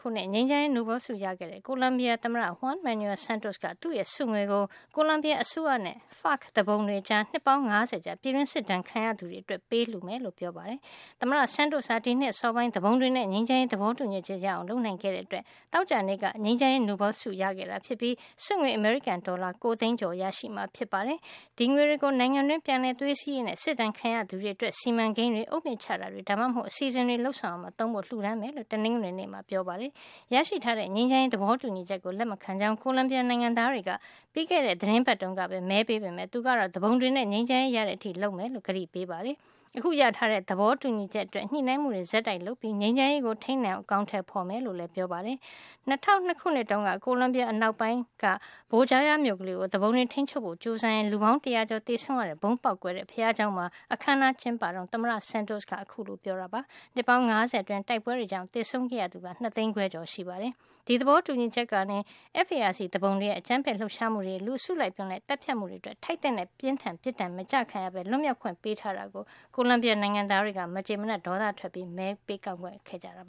ခုနှစ် ငြိမ်းချမ်းရေးနိုဘယ်လ် ဆုရခဲ့တဲ့ ကိုလံဘီယာသမ္မတ Juan Manuel Santos က သူ့ရဲ့ ဆုငွေကို ကိုလံဘီယာအစိုးရနဲ့ FARC သူပုန်တွေကြား နှစ်ပေါင်း ၅၀ ကြာ ပြည်တွင်းစစ်ဒဏ် ခံခဲ့ကြရသူတွေအ တွက် ပေးလှု မယ်လို့ ပြောကြား လိုက်ပါတယ်။ သမ္မတ Santos ဟာ ဒီနှစ်အစောပိုင်းမှာ သူပုန်တွေနဲ့ ငြိမ်းချမ်းရေး သဘောတူညီ ချက် ရအောင် လုပ်နိုင်ခဲ့တဲ့အတွက် သောကြာနေ့က ငြိမ်းချမ်းရေးနိုဘယ်လ်ဆု ရရှိခဲ့တာဖြစ်ပြီး ဆုငွေ အမေရိကန်ဒေါ်လာ ၉ သိန်းကျော် ရရှိမှာ ဖြစ်ပါတယ်။ ဒီငွေတွေကို နိုင်ငံတွင်း ပြန်လည်သွေးစည်းရေးနဲ့ စစ်ဒဏ်ခံရသူတွေအတွက် စီမံ ကိန်းတွေ၊ အုတ်မြစ်ချတာတွေ ဒါမှမဟုတ် အစီအစဉ်တွေ လုပ်ဆောင်ရာမှာ သုံးဖို့ လှုဒါန်းမှာ ဖြစ်ကြောင်း တနင်္ဂနွေနေ့မှာပဲ ပြောပါတယ်။ ရရှိထားတဲ့ ငြိမ်းချမ်းရေး သဘောတူညီချက်ကို လက်မခံကြောင်း ကိုလံဘီယာနိုင်ငံ သားတွေက ပြီးခဲ့တဲ့ သီတင်းပါတ်တုန်းကပဲ မဲပေးခဲ့ကြပေးမယ့် သူကတော့ သူ ပုန်တွေနဲ့ ငြိမ်းချမ်းရေးရ တဲ့အထိ လုပ်ဆောင်မှာ ဖြစ်ကြောင်း ကတိပေးခဲ့ပါတယ်။ အခုရရှိထားတဲ့ သဘောတူညီချက်အတွက် ညှိနှိုင်းမှုတွေ ဆက်တိုက်လုပ်ပြီး ငြိမ်ချမ်းရေးကို ထိမ်းနိုင်အောင် အကောင်ထည် ဖေါ်သွား မှာ ဖြစ်ကြောင်း လည်း ပြောပါတယ်။ ၂၀၀၂ ခုနှစ်တုန်းက ကိုလံဘီယာ အနောက်ပိုင်းက Bojaya မြို့ကလေးကို သူ ပုန်တွေ ထိမ်းချုပ်ဖို့ ကျိုးစားရင်း လူပေါင်း တရာကျော် သေဆုံးရ တဲ့ဗုံး ပေါက်ကွဲခဲ့ တဲ့ ဘုရားကျောင်းမှာ အခန်းအနားကျင်းပတုန်း သမ္မတ Santos က ခုလို ပြောကြား ခဲ့တာပါ။ နှစ်ပေါင်း ၅၀ အတွင်း တိုက် ပွဲတွေကြောင့် သေဆုံးခဲ့ရ သူက ၂ သိန်း ခွဲကျော် ရှိတာပါ။ ဒီသဘောတူညီချက်ကနေ FARC သူပုန်တွေရဲ့ အကြမ်းဖက်လှုပ်ရှားမှုတွေ၊ လူအစု လိုက်အပြုံလိုက် သတ်ဖြတ်မှုတွေအတွက် ထိုက်သင့် တဲ့ ပြင်းထန်တဲ့ ပစ် ဒဏ်တွေ မကျခံရပဲ လွတ်မြောက်ခွင့် ပေးထားတဲ့အတွက် ကိုလံ ဘီယာ နိုင်ငံသားတွေက မကျေမနပ် ဒေါသထွက်ကြပြီး မဲပေးကန့်ကွက် ခဲ့ကြတာ